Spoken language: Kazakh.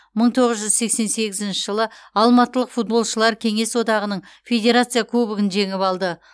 мың тоғыз жүз сексен сегізінші жылы алматылық футболшылар кеңес одағының федерация кубогын жеңіп алды